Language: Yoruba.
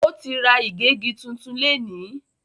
O tí ra igegi tún tún léni.